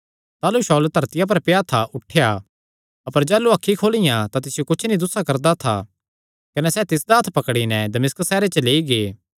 ताह़लू शाऊल धरतिया पर पेआ था उठेया अपर जाह़लू अखीं खोलियां तां तिसियो कुच्छ नीं दुस्सा करदा था कने सैह़ तिसदा हत्थ पकड़ी नैं दमिश्क सैहरे च लेई गै